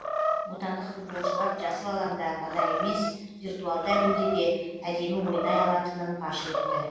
отандық футболшылар жасыл алаңда ғана емес виртуалды әлемде де әдемі ойнай алатынын паш етті